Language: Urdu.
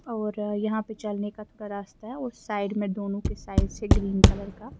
.اورآ یحیٰ پی چلنے کا تھودا راستہ ہیں اور سائیڈ مے دونو کی اُس سائیڈ سے گرین کلر کا